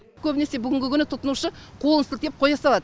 көбінесе бүгінгі күні тұтынушы қолын сілтеп қоя салады